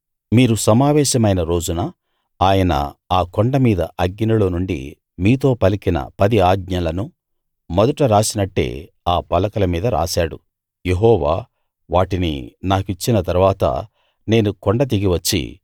మీరు సమావేశమైన రోజున ఆయన ఆ కొండ మీద అగ్నిలో నుండి మీతో పలికిన పది ఆజ్ఞలనూ మొదట రాసినట్టే ఆ పలకల మీద రాశాడు యెహోవా వాటిని నాకిచ్చిన తరువాత నేను కొండ దిగి వచ్చి